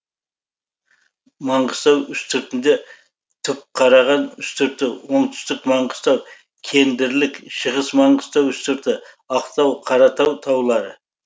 маңғыстау үстіртінде түпқараған үстірті оңтүстік маңғыстау кендірлік шығыс маңғыстау үстірті ақтау қаратау таулары